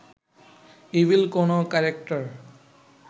evil কোনো character